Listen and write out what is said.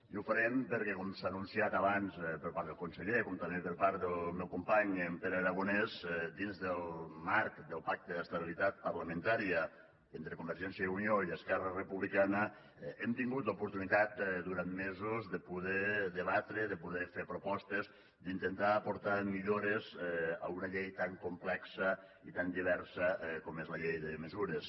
i ho farem perquè com s’ha anunciat abans per part del conseller com també per part del meu company en pere aragonès dins del marc del pacte d’estabilitat parlamentària entre convergència i unió i esquerra republicana hem tingut l’oportunitat durant mesos de poder debatre de poder fer propostes d’intentar aportar millores a una llei tan complexa i tan diversa com és la llei de mesures